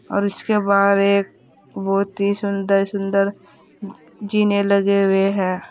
और उसके बाहर एक बहुत ही सुंदर सुंदर जीने लगे हुए हैं।